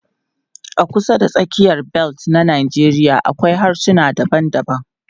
A kusa da tsakiyar bel na Najeriya akwai harsuna daban-daban.